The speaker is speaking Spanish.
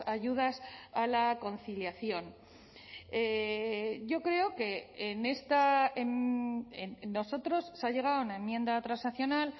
ayudas a la conciliación yo creo que en esta nosotros se ha llegado a una enmienda transaccional